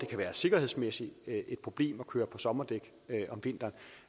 kan være et sikkerhedsmæssigt problem at køre på sommerdæk om vinteren